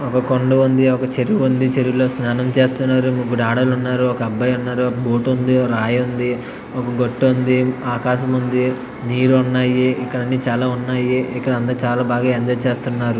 కొండ ఉంది ఒక చెరువు ఉంది చెరువులో స్నానం చేస్తున్నారు ముగ్గురు ఆడోళ్ళు ఉన్నారు ఒక అబ్బాయి ఉన్నాడు ఒక బూట్ ఉంది ఒక రాయి ఉంది ఒక గుట్ట ఉంది ఆకాశముంది నీరు ఉన్నాయి ఇక్కడ అన్ని చాలా ఉన్నాయి ఇక్కడ అందరూ చాలా బాగా ఎంజాయ్ చేస్తున్నారు.